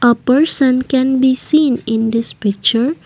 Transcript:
a person can be seen in this picture.